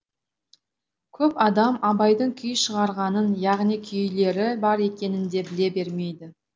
көп адам абайдың күй шығарғанын яғни күйлері бар екенін де біле бермейді